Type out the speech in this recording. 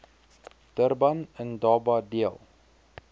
durban indaba deel